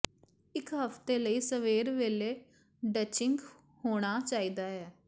ਇੱਕ ਹਫ਼ਤੇ ਲਈ ਸਵੇਰ ਵੇਲੇ ਡਚਿੰਗ ਹੋਣਾ ਚਾਹੀਦਾ ਹੈ